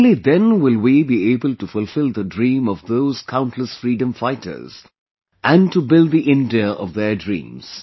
Only then will we be able to fulfill the dream of those countless freedom fighters... and to build the India of their dreams